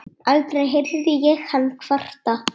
Aldrei heyrði ég hann kvarta.